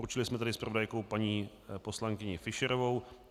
Určili jsme tedy zpravodajkou paní poslankyni Fischerovou.